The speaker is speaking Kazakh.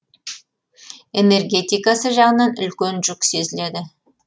энергетикасы жағынан үлкен жүк сезіледі